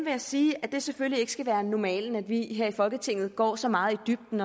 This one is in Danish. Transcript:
jeg sige at det selvfølgelig ikke skal være normalen at vi her i folketinget går så meget i dybden